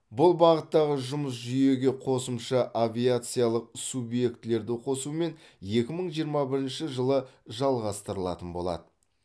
бұл бағыттағы жұмыс жүйеге қосымша авиациялық субъектілерді қосумен екі мың жиырма бірінші жылы жалғастырылатын болады